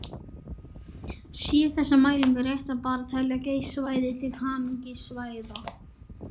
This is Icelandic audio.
Séu þessar mælingar réttar ber að telja Geysissvæðið til háhitasvæða.